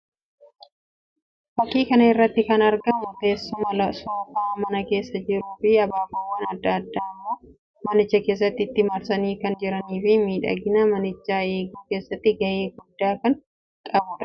Fakkii kana irratti kan argamu teessuma soofaa mana keessaa jiruu fi abaaboowwan addaa addaa immoo manicha keessatti itti marsanii kan jiranii fi miidhagina manichaa eeguu keessatti ga'ee guddaa kan qabuu dha.